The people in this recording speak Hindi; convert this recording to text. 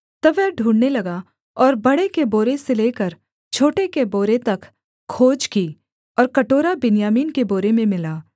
तब वह ढूँढ़ने लगा और बडे़ के बोरे से लेकर छोटे के बोरे तक खोज की और कटोरा बिन्यामीन के बोरे में मिला